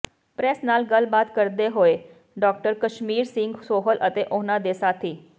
press ਨਾਲ ਗੱਲਬਾਤ ਕਰਦੇ ਹੋਏ ਡਾ ਕਸ਼ਮੀਰ ਸਿੰਘ ਸੋਹਲ ਅਤੇ ਉਨ੍ਹਾਂ ਦੇ ਸਾਥੀ